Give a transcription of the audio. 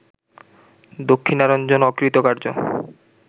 Dakshinaranjan অকৃতকার্য